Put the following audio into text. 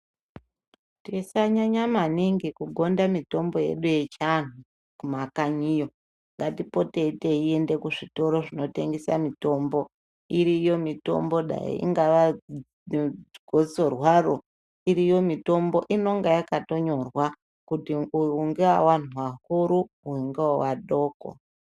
Tisanyanya maningi kugonda mitombo yedu yechiianhu kumakanyiyo ngatipotei teinda kuzvitoro zvinotengesa mitombo iriyo mitombo dai ringaa gosorwaro unenge yakatonyorwa kuti iyi ndeyevanhu akuru iyi ndeye vana vadoko